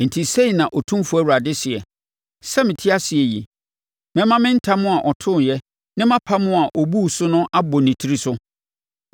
“ ‘Enti sei na Otumfoɔ Awurade seɛ: Sɛ mete ase yi, mɛma me ntam a ɔtooɛ, ne mʼapam a ɔbuu so no abɔ ne tiri so.